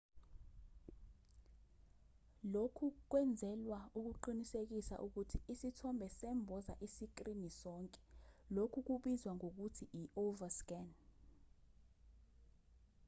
lokhu kwenzelwa ukuqinisekisa ukuthi isithombe semboza isikrini sonke lokhu kubizwa ngokuthi i-overscan